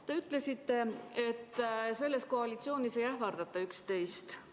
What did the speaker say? Te ütlesite, et selles koalitsioonis ei ähvardata üksteist.